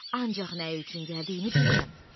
Ancaq nə üçün gəldiyini bilirəm.